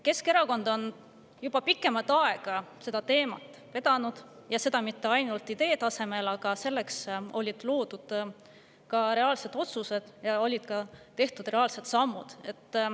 Keskerakond on juba pikemat aega seda teemat vedanud, ja seda mitte ainult idee tasemel, vaid selleks said ka reaalsed otsused, samuti olid tehtud reaalsed sammud.